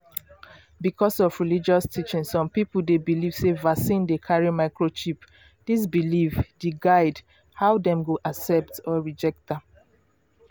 because of religious teaching some people dey believe sey vaccine dey carry microchip. this belief the guide how dem go accept or reject am